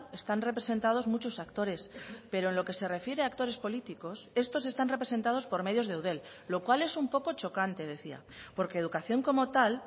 están representados muchos actores pero en lo que se refiere a actores políticos estos están representados por medios de eudel lo cual es un poco chocante decía porque educación como tal